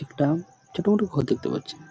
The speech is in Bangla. একটা-আ ছোট মতো ঘর দেখতে পাচ্ছি।